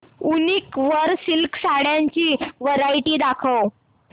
वूनिक वर सिल्क साड्यांची वरायटी दाखव